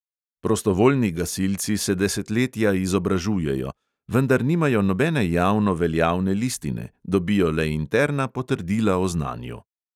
Prostovoljni gasilci se desetletja izobražujejo, vendar nimajo nobene javno veljavne listine, dobijo le interna potrdila o znanju.